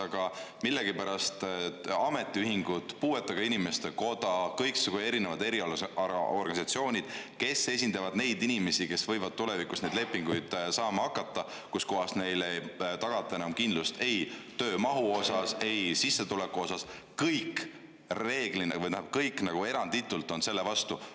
Aga millegipärast ametiühingud, puuetega inimeste koda ja kõiksugu erialaorganisatsioonid, kes esindavad neid inimesi, kes võivad tulevikus saada selliseid lepinguid, millega neile ei tagata enam kindlust ei töömahu ega sissetuleku mõttes, on kõik eranditult selle vastu.